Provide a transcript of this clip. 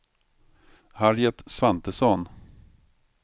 Harriet Svantesson